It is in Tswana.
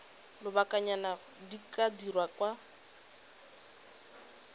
lobakanyana di ka dirwa kwa